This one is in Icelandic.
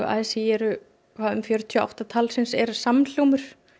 a s í eru fjörutíu og átta er samhljómur